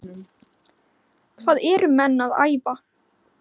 Hvað eru menn að æfa?